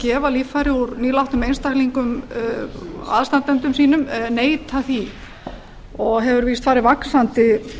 gefa líffæri úr nýlátnum einstaklingum aðstandendum sínum neita því og hefur víst farið vaxandi